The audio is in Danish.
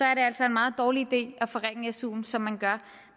er det altså en meget dårlig idé at forringe su som man gør